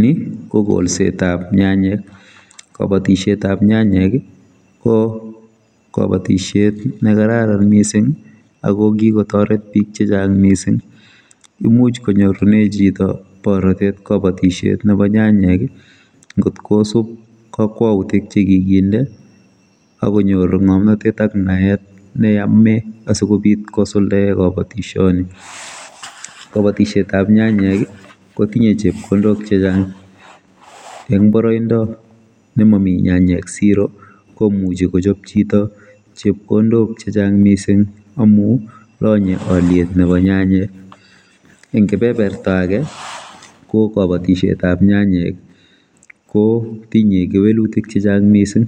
Ni kokolsetab nyanyek kabatisoetab nyanyek ko kabatisoet nekararan mising akokikotoret bik chechang mising imuch konyorune chito borotet kabatisietab nyanyek ngotkosub kakwautik nekikinde akonyor ngomnotet ak naet neyome asikobit kosuldae kabatisioni kabatisietab nyanyek kotinye chepkondok chechang eng boroindo nemami nyanyek siro komuchi kochop chito chepkondok chechang mising amu lanye oliet nebo nyanyek eng kebeberta ake ko kabatisietab nyanyek kotinye kewelutik chechang mising